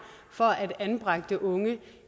for at anbragte unge